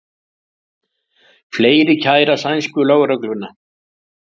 Fleiri kæra sænsku lögregluna